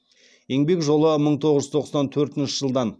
еңбек жолы мың тоғыз жүз тоқсан төртінші жылдан